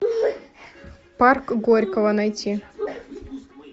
парк горького найти